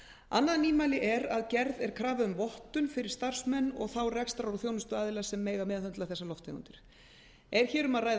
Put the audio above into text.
annað nýmæli er að gerð er krafa um vottun fyrir starfsmenn og þá rekstrar og þjónustuaðila sem mega meðhöndla þessar lofttegundir er hér um að ræða